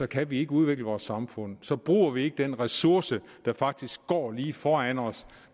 kan vi ikke udvikle vores samfund så bruger vi ikke den ressource der faktisk går lige foran os